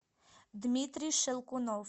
дмитрий щелкунов